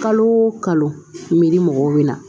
Kalo o kalo miri mɔgɔw bɛ na